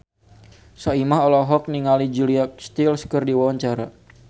Soimah olohok ningali Julia Stiles keur diwawancara